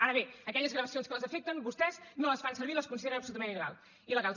ara bé aquelles gravacions que els afecten vostès no les fan servir les consideren absolutament il·legals